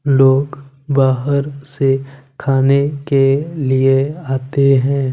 लोग बाहर से खाने के लिए आते हैं।